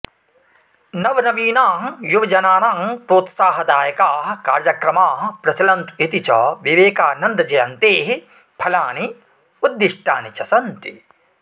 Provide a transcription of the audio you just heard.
नवनवीनाः युवजनानां प्रोत्साहदायकाः कार्यक्रमाः प्रचलन्तु इति च विवेकानन्दजयन्तेः फलानि उद्दिष्टानि च सन्ति